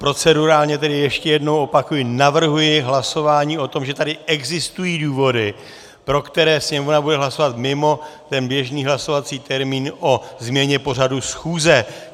Procedurálně tedy ještě jednou opakuji - navrhuji hlasování o tom, že tady existují důvody, pro které Sněmovna bude hlasovat mimo ten běžný hlasovací termín o změně pořadu schůze.